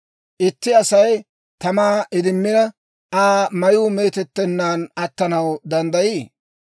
Itti Asay tamaa idimmina, Aa mayuu meetettennaan attanaw danddayii?